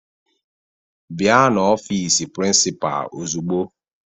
Bịa n'ọfiisi prịnsịpaa ozugbo!